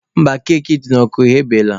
Mba, keki dị n'ọkụ eghebeela.